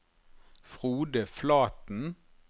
Frode Flaten